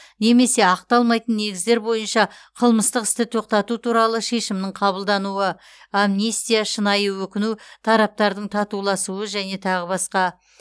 немесе ақталмайтын негіздер бойынша қылмыстық істі тоқтату туралы шешімнің қабылдануы амнистия шынайы өкіну тараптардың татуласуы және тағы басқа